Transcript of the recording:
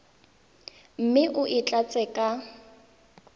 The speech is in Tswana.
mme o e tlatse ka